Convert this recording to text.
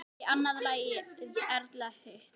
Ég annað lagið, Erla hitt!